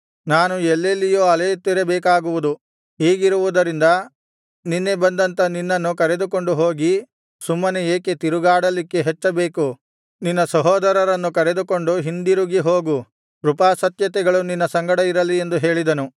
ನಾನು ಎಲ್ಲೆಲ್ಲಿಯೋ ಅಲೆಯುತ್ತಿರಬೇಕಾಗುವುದು ಹೀಗಿರುವುದರಿಂದ ನಿನ್ನೆ ಬಂದಂಥ ನಿನ್ನನ್ನು ಕರೆದುಕೊಂಡು ಹೋಗಿ ಸುಮ್ಮನೆ ಏಕೆ ತಿರುಗಾಡಲಿಕ್ಕೆ ಹಚ್ಚಬೇಕು ನಿನ್ನ ಸಹೋದರರನ್ನು ಕರೆದುಕೊಂಡು ಹಿಂದಿರುಗಿ ಹೋಗು ಕೃಪಾಸತ್ಯತೆಗಳು ನಿನ್ನ ಸಂಗಡ ಇರಲಿ ಎಂದು ಹೇಳಿದನು